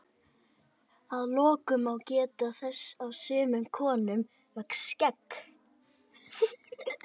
að lokum má geta þess að sumum konum vex skegg